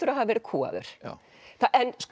að hafa verið kúgaður já